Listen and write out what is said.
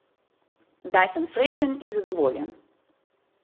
Zdaj sem srečen in zadovoljen.